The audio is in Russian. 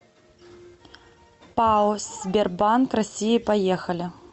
пао сбербанк россии поехали